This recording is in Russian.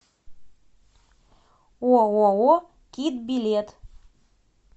ооо кит билет